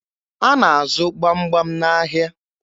A na-azụ gbamgbam n'ahịa